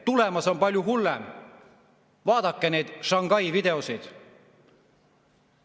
Tulemas on palju hullem, vaadake neid Shanghai videoid!